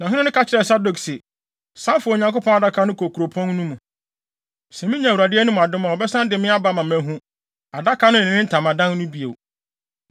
Na ɔhene no ka kyerɛɛ Sadok se, “San fa Onyankopɔn Adaka no kɔ kuropɔn no mu. Sɛ minya Awurade anim adom a, ɔbɛsan de me aba ama mahu Adaka no ne ne ntamadan no bio.